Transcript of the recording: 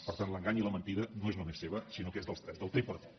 per tant l’engany i la mentida no és només seva sinó que és dels tres del tripartit